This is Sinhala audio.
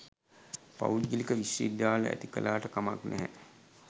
පෞද්ගලික විශ්ව විද්‍යාල ඇති කළාට කමක් නැහැ